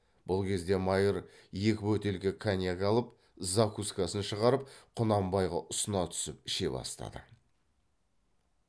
бұл кезде майыр екі бөтелке коньяк алып закускасын шығарып құнанбайға ұсына түсіп іше бастады